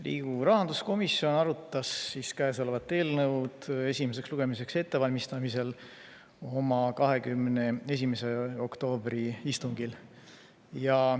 Riigikogu rahanduskomisjon arutas käesolevat eelnõu, seda esimeseks lugemiseks ette valmistades, oma 21. oktoobri istungil.